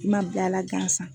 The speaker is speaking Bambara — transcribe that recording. I ma bil'a la gansan.